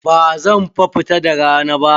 Bazan fa fita da rana ba.